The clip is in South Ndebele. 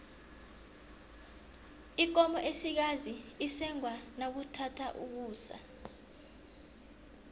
ikomo esikazi isengwa nakuthatha ukusa